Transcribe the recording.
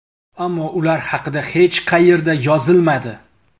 Ammo ular haqida hech qayerda yozilmadi.